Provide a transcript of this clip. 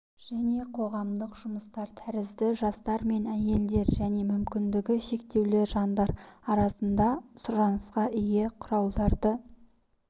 және қоғамдық жұмыстар тәрізді жастар мен әйелдер және мүмкіндігі шектеулі жандар арасында сұранысқа ие құралдарды